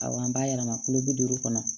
Awɔ an b'a yɛlɛma kulo bi duuru kɔnɔ